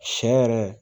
Sɛ yɛrɛ